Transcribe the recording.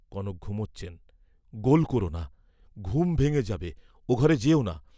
কনক ঘুমোচ্ছেন, গোল ক’রনা ঘুম ভেঙ্গে যাবে, ও ঘরে যেওনা।